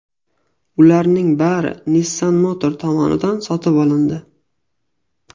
Ularning bari Nissan Motor tomonidan sotib olindi.